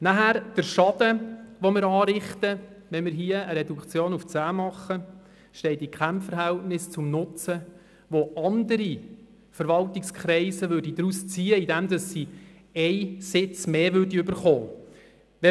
Weiter stünde der Schaden, den wir mit einer Reduktion auf 10 anrichteten, in keinem Verhältnis zum Nutzen, den andere Verwaltungskreise daraus ziehen würden, indem sie einen zusätzlichen Sitz erhalten würden.